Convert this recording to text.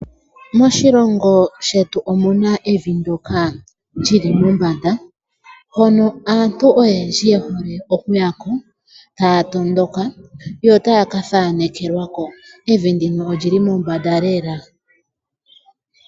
Moshilongo shetu omu na evi ndyoka lyi li mombanda hono aantu oyendji yehole okuya ko taya tondoka yotaya kathaanekelwako. Evi ndino olyi li mombanda lela.